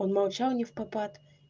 он молчал невпопад